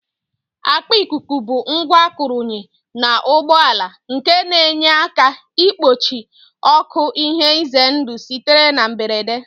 Akpa ikuku bụ ngwa arụnyere n'ụgbọala nke na-enye aka igbochi oké ihe ize ndụ sitere na mberede